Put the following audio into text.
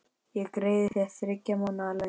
Ég greiði þér þriggja mánaða laun.